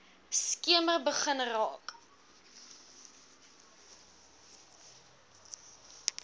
skemer begin raak